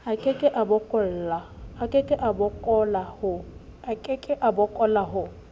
a keke a boloka ho